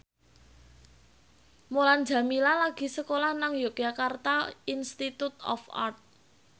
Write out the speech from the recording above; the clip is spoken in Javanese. Mulan Jameela lagi sekolah nang Yogyakarta Institute of Art